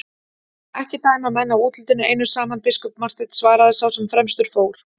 Ekki dæma menn af útlitinu einu saman, biskup Marteinn, svaraði sá sem fremstur fór.